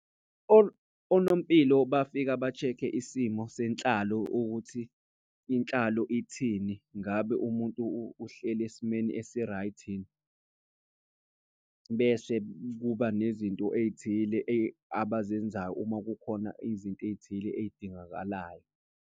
Onompilo bafika ba-check-e isimo senhlalo ukuthi inhlalo ithini. Ngabe umuntu uhleli esimeni esi-right yini. Bese kuba nezinto ey'thile abazenzayo uma kukhona izinto ey'thile ey'dingakalayo.